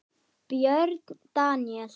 Björn Daníel?